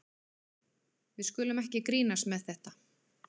Við skulum ekkert grínast með þetta.